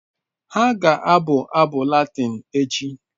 Ha ga-abụ abụ Latịn echi